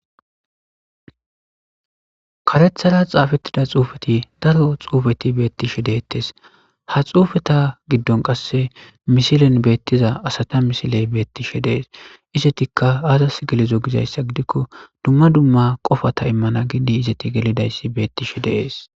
Karethara xaafetida xuufeti daro xuufeti beetishe detees. Ha xuufeta gidon qase misilen betiza asata misiley betishe dees. Izetika azas gelido gizaysa gidikon duma duma qopata izeti imana gidi gelidays betishe de'es.